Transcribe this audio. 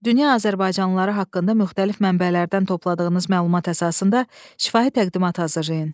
Dünya azərbaycanlıları haqqında müxtəlif mənbələrdən topladığınız məlumat əsasında şifahi təqdimat hazırlayın.